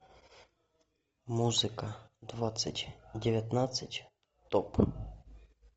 музыка двадцать девятнадцать топ